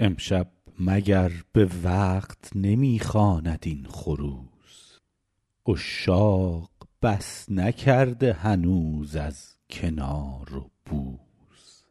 امشب مگر به وقت نمی خواند این خروس عشاق بس نکرده هنوز از کنار و بوس